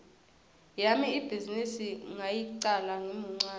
yami ibhizinisi ngayicala ngimuncane